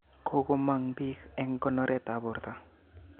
Kokomog biik eng konoret tab borto